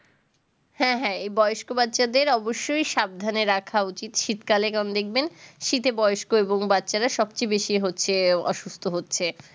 হ্যাঁ হ্যাঁ এই বয়স্ক বাচ্চাদের অবশ্যই সাবধানে রাখা উচিত শীত কালে কারণ দেখবেন শীতে বয়স্ক এবং বাচ্চারা সবচেয়ে হচ্ছে বেশি অসুস্থ হচ্ছে